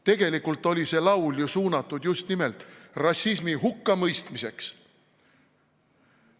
Tegelikult oli see laul ju suunatud just nimelt rassismi hukkamõistmiseks.